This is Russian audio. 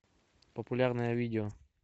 популярное видео